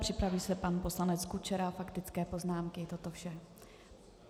Připraví se pan poslanec Kučera, faktické poznámky toto vše.